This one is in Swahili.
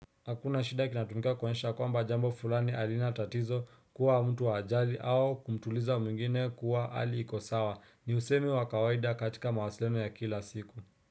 Hakuna shida kinatumika kuonyesha kwamba jambo fulani halina tatizo kuwa mtu hajali au kumtuliza mwingine kuwa hali iko sawa. Ni usemi wa kawaida katika mawasiliano ya kila siku.